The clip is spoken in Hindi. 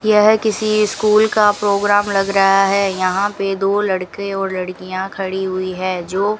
यह किसी स्कूल का प्रोग्राम लग रहा है यहां पे दो लड़के और लड़कियां खड़ी हुई है जो --